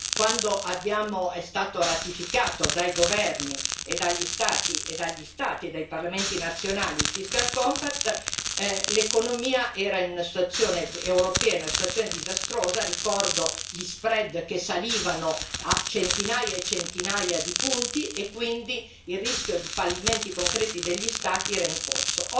Quando è stato ratificato dai governi, dagli Stati e dai parlamenti nazionali il fiscal compact l'economia europea era in una situazione disastrosa ricordo gli spread che salivano a centinaia e centinaia di punti e quindi il rischio di fallimenti concreti degli Stati era in corso.